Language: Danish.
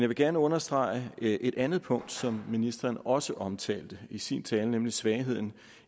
vil gerne understrege et andet punkt som ministeren også omtalte i sin tale nemlig svagheden